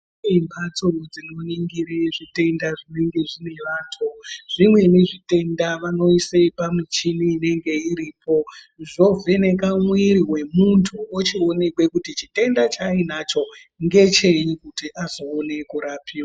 Kune mhatso dzinoningire zvitenda zvinenge zvine vantu. Zvimweni zvitenda vanoise pamuchini inenge iripo zvoveneke mumwiri wemuntu ochionekwa chitenda chainacho kuti ngechei azooneke kurapiwa.